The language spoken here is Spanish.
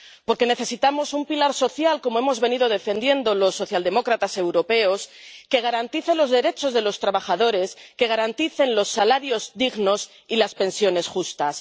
Porque necesitamos un pilar social —como hemos venido defendiendo los socialdemócratas europeos— que garantice los derechos de los trabajadores, que garantice los salarios dignos y las pensiones justas.